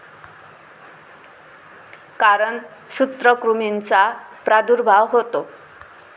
कारण सूत्रकृमींचा प्रादुर्भाव होतो.